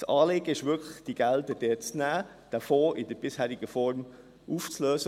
Das Anliegen ist wirklich, diese Gelder zu nehmen und den Fonds in der bisherigen Form aufzulösen.